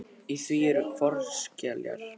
Í því eru fornskeljar.